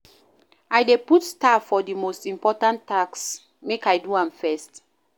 I dey put star for di most important tasks, make I do dem first.